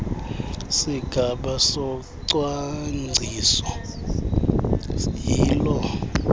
sigaba socwangciso yiloo